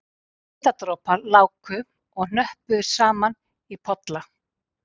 Svitadropar láku og hnöppuðust saman í polla